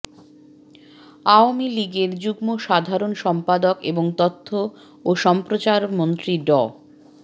আওয়ামী লীগের যুগ্ম সাধারণ সম্পাদক এবং তথ্য ও সম্প্রচার মন্ত্রী ড